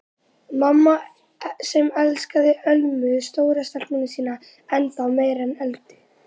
Mamma sem elskaði Ölmu stóru stelpuna sína ennþá meira en Öldu.